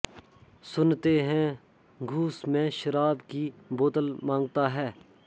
सुनते हैं घूस में शराब की बोतल माँगता है